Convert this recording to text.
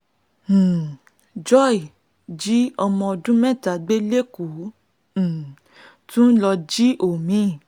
um joy jí ọ̀mọ̀ọ́ndún mẹ́ta gbé lẹ́kọ̀ọ́ ó um tún lọ́ọ́ jí omi